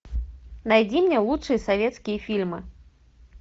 найди мне лучшие советские фильмы